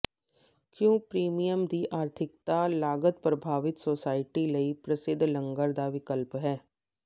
ਕਿਉਂ ਪ੍ਰੀਮੀਅਮ ਦੀ ਆਰਥਿਕਤਾ ਲਾਗਤ ਪ੍ਰਭਾਵਤ ਸੁਸਾਇਟੀ ਲਈ ਪ੍ਰਸਿੱਧ ਲੰਗਰ ਦਾ ਵਿਕਲਪ ਹੈ